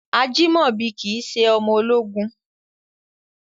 Ajimobi kìí ṣe ọmọ ológun.